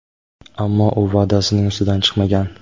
ammo u va’dasining ustidan chiqmagan.